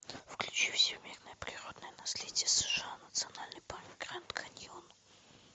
включи всемирное природное наследие сша национальный парк гранд каньон